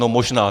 No, možná.